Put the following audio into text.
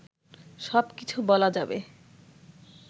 সব কিছু বলা যাবে